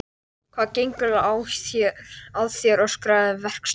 Hvað gengur eiginlega að þér? öskraði verkstjórinn.